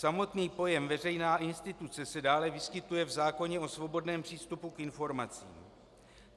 Samotný pojem veřejná instituce se dále vyskytuje v zákoně o svobodném přístupu k informacím.